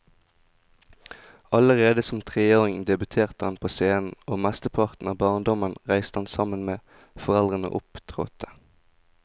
Allerede som treåring debuterte han på scenen, og mesteparten av barndommen reiste han sammen med foreldrene og opptrådte.